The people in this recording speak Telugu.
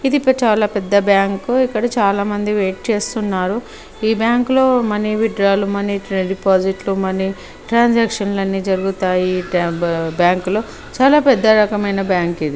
ఇది చాలా పెద్ద బ్యాంకు ఇక్కడ చాలా మంది వెయిట్ చేస్తున్నారు ఈ బ్యాంక్లో మని విత్ డ్రా లు మనీ డిపాజిట్ లు మనీ ట్రాన్సాక్షన్స్ లని జరుగుతాయి బ్యాంక్లో చాల పెద్ద రకమైన బ్యాంకు ఇది